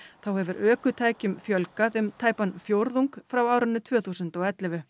þá hefur ökutækjum fjölgað um tæpan fjórðung frá árinu tvö þúsund og ellefu